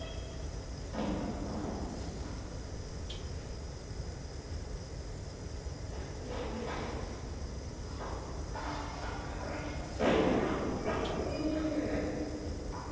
Thelma, slökktu á niðurteljaranum.